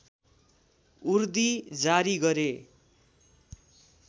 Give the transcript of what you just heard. उर्दी जारी गरे